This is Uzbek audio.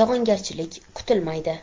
yog‘ingarchilik kutilmaydi.